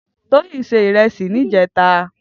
Toyin sè irèsí nijètá